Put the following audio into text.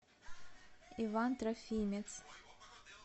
иван трофимец